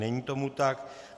Není tomu tak.